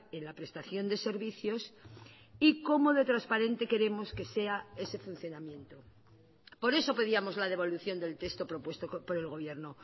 en la prestación de servicios y cómo de transparente queremos que sea ese funcionamiento por eso pedíamos la devolución del texto propuesto por el gobierno